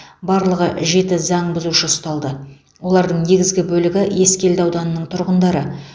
барлығы жеті заң бұзушы ұсталды олардың негізгі бөлігі ескелді ауданының тұрғындары